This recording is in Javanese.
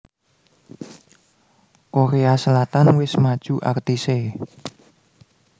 Korea Selatan wis maju artise